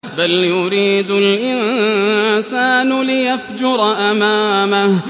بَلْ يُرِيدُ الْإِنسَانُ لِيَفْجُرَ أَمَامَهُ